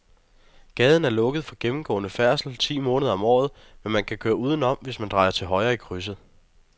Gaden er lukket for gennemgående færdsel ti måneder om året, men man kan køre udenom, hvis man drejer til højre i krydset.